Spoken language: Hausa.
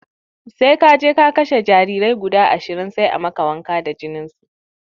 Sai kaje ka kashe jarirai guda ashirin sai a maka wanka da jininsu